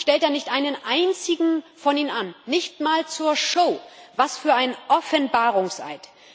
Und dann stellt er nicht einen Einzigen von ihnen an, nicht einmal zur Show. Was für ein Offenbarungseid!